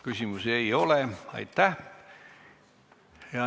Küsimusi ei ole.